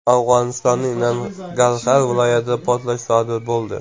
Afg‘onistonning Nangarxar viloyatida portlash sodir bo‘ldi.